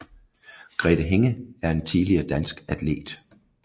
Grethe Hinge er en tidligere dansk atlet